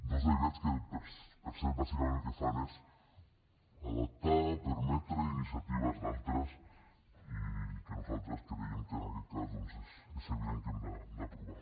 dos decrets que per cert bàsicament el que fan és adaptar permetre iniciatives d’altres i que nosaltres creiem que en aquest cas doncs és evident que hem d’aprovar